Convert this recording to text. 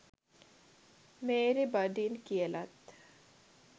Mary බඩින් කියලත්